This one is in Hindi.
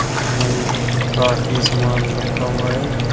उसमें काफी सामान रखा हुआ है।